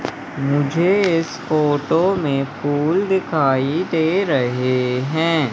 मुझे इस फोटो में फूल दिखाई दे रहे हैं।